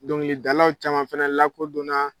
Dɔŋilidalaw caman fɛnɛ lakodɔnna